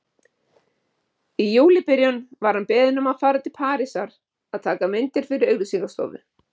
Í júlíbyrjun var hann beðinn um að fara til Parísar að taka myndir fyrir auglýsingastofu.